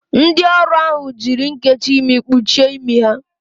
Ndị ọrụ ahụ jiri nnkechi imi kpuchie imi ha.